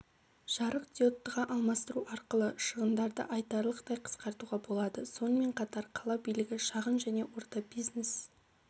жарықдиодтыға алмастыру арқылы шығындарды айтарлықтай қысқартуға болады сонымен қатар қала билігі шағын және орта бизнес